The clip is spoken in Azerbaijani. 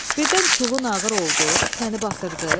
Birdən çulun ağır oldu, səni batırdı?